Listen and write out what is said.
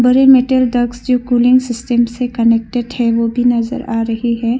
जो cooling system से connected है वह भी नजर आ रही है।